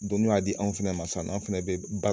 Don n'u y'a di an fɛnɛ ma sisan nɔ an fɛnɛ bɛ